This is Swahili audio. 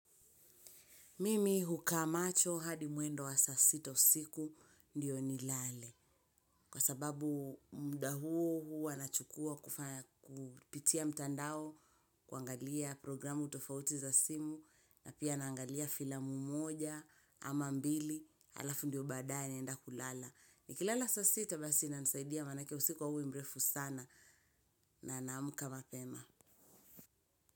Mimi hukaa macho hadi mwendo wa saa sita usiku ndiyo nilale. Kwa sababu mda huo huwa nachukua kupitia mtandao, kuangalia programu tofauti za simu na pia naangalia filamu moja ama mbili halafu ndiyo baadaye naenda kulala. Nikilala saa sita basi inanisaidia manake usiku hauwi mefu sana. Na naamka mapema.